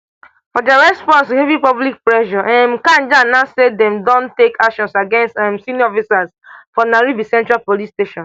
for dia response to heavy public pressure um kanja announce say dem don take actions against um senior officers for nairobi central police station